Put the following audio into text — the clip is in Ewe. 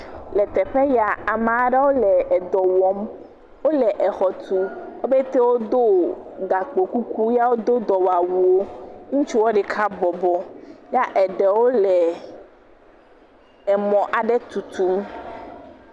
Le teƒe yaa, amaa ɖewo le edɔ wɔm. Wole exɔ tum. Wo pete wodo gakpokuku ya wodoo dɔwawuwo. Ŋutsuɔ ɖeka bɔbɔ ya eɖewo le emɔ aɖe tutum.